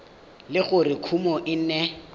le gore kumo e ne